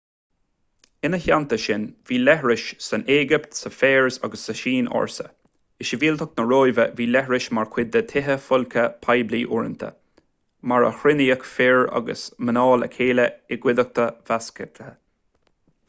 ina theanta sin bhí leithris san éigipt sa pheirs agus sa tsín ársa i sibhialtacht na róimhe bhí leithris mar chuid de thithe folctha poiblí uaireanta mar a chruinníodh fir agus mná le chéile i gcuideachta mheasctha